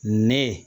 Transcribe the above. Ne